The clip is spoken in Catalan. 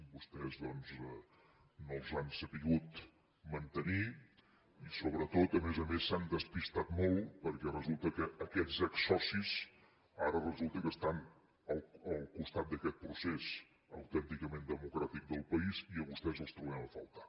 vostès doncs no els han sabut mantenir i sobretot a més a més s’han despistat molt perquè resulta que aquests exsocis ara resulta que estan al costat d’aquest procés autènticament democràtic del país i a vostès els trobem a faltar